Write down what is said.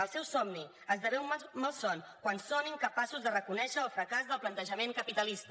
el seu somni esdevé un malson quan són incapaços de reconèixer el fracàs del plantejament capitalista